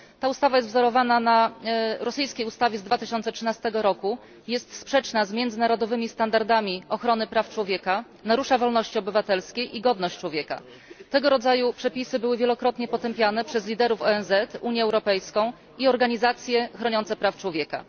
Ustawa ta jest wzorowana na rosyjskiej ustawie z 2013 roku i jest sprzeczna z międzynarodowymi standardami ochrony praw człowieka, narusza swobody obywatelskie i godność człowieka. Tego rodzaju przepisy były wielokrotnie potępiane przez przywódców ONZ, Unię Europejską i organizacje chroniące prawa człowieka.